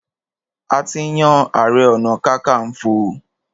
A ti yan ààrẹ-ọ̀nà-kakanfò.